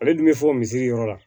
Ale dun bɛ fɔ misiri yɔrɔ la